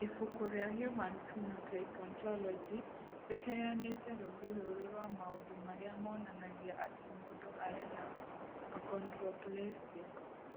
Ibuku rĩa Human Phenotype Ontology rĩheanĩte rũũri rũrũ rwa maũndũ marĩa monanagia atĩ mũndũ arĩ na Achondroplasia.